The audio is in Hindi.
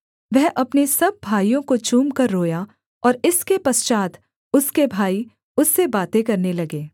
वह अपने सब भाइयों को चूमकर रोया और इसके पश्चात् उसके भाई उससे बातें करने लगे